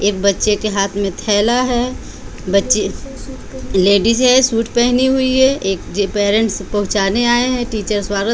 एक बच्चे के हाथ में थैला है बच्चे लेडीज है सूट पहनी हुई है एक पेरेंट्स पहुंचाने आए हैं टीचर स्वाग --